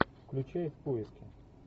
включай в поиске